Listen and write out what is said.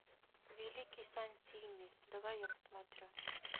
великий сантини давай я посмотрю